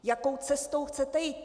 Jakou cestou chcete jít?